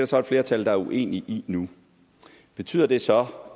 så et flertal der er uenige i nu betyder det så